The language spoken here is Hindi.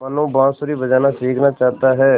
मनु बाँसुरी बजाना सीखना चाहता है